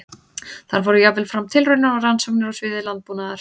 Þar fóru jafnvel fram tilraunir og rannsóknir á sviði landbúnaðar.